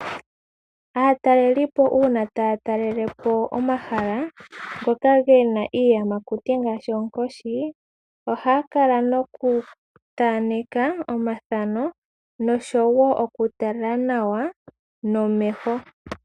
Aatalelipo uuna taya talele po omahala ngoka gena iiyamakuti ngashi oonkoshi, ohaya kala nokuthaneka omathano nosho wo okutala nawa nomeho.